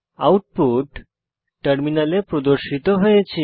output টার্মিনালে প্রদর্শিত হয়েছে